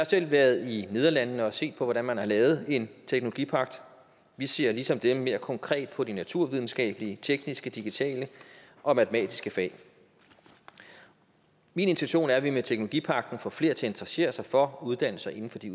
selv været i nederlandene for at se på hvordan man har lavet en teknologipagt vi ser ligesom dem mere konkret på de naturvidenskabelige tekniske digitale og matematiske fag min intention er at vi med teknologipagten får flere til at interessere sig for at uddanne sig inden for de